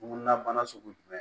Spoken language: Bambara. Ŋunan bana sugu jumɛn